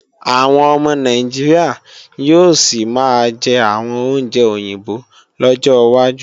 Àwọn ọmọ Nàìjíríà yóò sì máa jẹ àwọn oúnjẹ òyìnbó lọ́jọ́ wájú